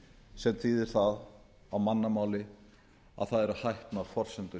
sem þýðir það á mannamáli að það eru hæpnar forsendur